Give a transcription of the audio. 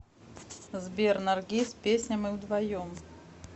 сбер наргиз песня мы вдвоем